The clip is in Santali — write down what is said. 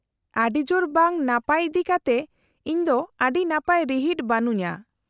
-ᱟᱹᱰᱤ ᱡᱳᱨ ᱵᱟᱝ ᱱᱟᱯᱟᱭ ᱤᱫᱤᱠᱟᱛᱮ ᱤᱧ ᱫᱚ ᱟᱹᱰᱤ ᱱᱟᱯᱟᱭ ᱨᱤᱦᱤᱴ ᱵᱟᱹᱱᱩᱧᱼᱟ ᱾